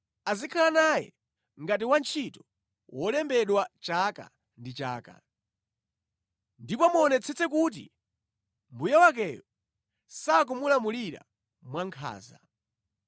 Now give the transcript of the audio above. Azikhala naye ngati wantchito wolembedwa chaka ndi chaka. Ndipo muonetsetse kuti mbuye wakeyo sakumulamulira mwankhanza.